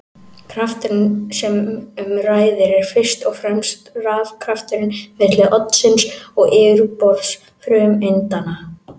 Krafturinn sem um ræðir er fyrst og fremst rafkrafturinn milli oddsins og yfirborðs frumeindanna.